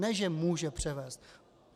Ne že může převést.